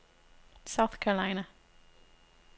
South Carolina